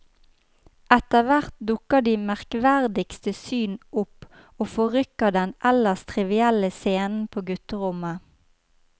Etterhvert dukker de merkverdigste syn opp og forrykker den ellers trivielle scenen på gutterommet.